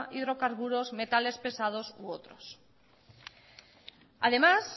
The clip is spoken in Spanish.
hidrocarburos metales pesado u otros además